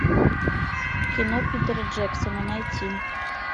кино питера джексона найти